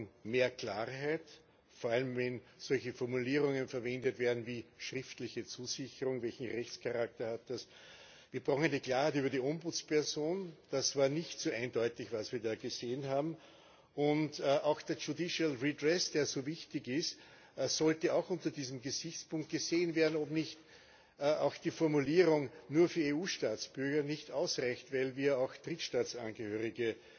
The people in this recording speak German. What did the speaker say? Wir brauchen mehr Klarheit, vor allem wenn solche Formulierungen verwendet werden wie schriftliche Zusicherung welchen Rechtscharakter hat das, wir brauchen eine Klarheit über die Ombudsperson. Das war nicht so eindeutig, was wir da gesehen haben, und auch der judicial redress, der so wichtig ist, sollte auch unter diesem Gesichtspunkt gesehen werden, ob nicht auch die Formulierung nur für EU Staatsbürger nicht ausreicht, weil wir auch Drittstaatsangehörige